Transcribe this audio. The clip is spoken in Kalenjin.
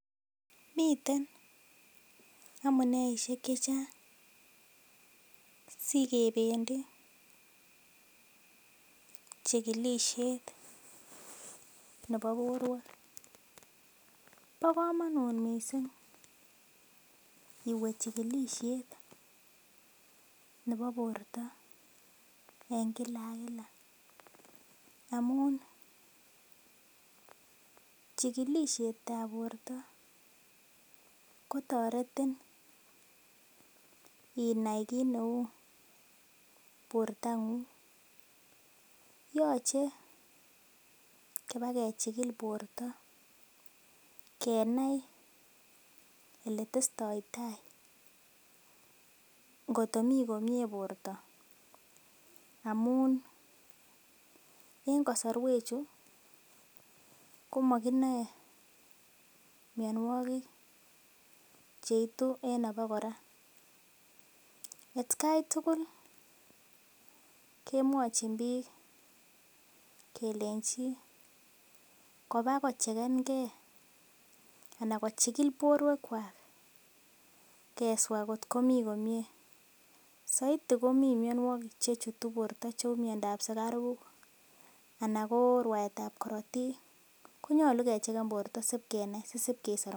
Miten amuneisiek chechang sikebendii chigilisiet nebo borwek bo komonut missing iwe chigilisiet nebo borto en kila ak kila amun chigilisiet ab borto kotoretin inai kit neu borto ng'ung yoche kibakechigil borto kenai eletestoitai ngot komii komie borto amun en kosorwek chu komokinoe mionwogik cheitu en abokora atkai tugul kemwochin biik kelenji kobakochegen gee ana kechigil borwek kwak keswaa kot komii komie soiti komii mionwogik chechutu borto cheu miondab sugaruk ana ko rwaetab korotik konyolu kechegen borto sikenai sisib kesor